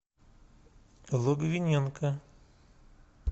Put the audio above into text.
логвиненко